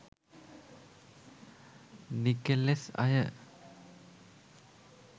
නිකෙලෙස් අය